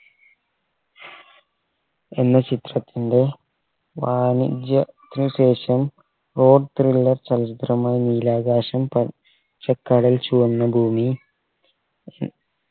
എന്ന ചിത്രത്തിൻറെ വാണിജ്യ ത്തിന് ശേഷം rock thriller ചലച്ചിത്രമായ നീലാകാശം പച്ച ക്കടൽ ചുവന്നഭൂമി